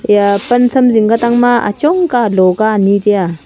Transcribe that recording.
ya pan tham jing ku tang ma achong ka alo ka ani taiaa.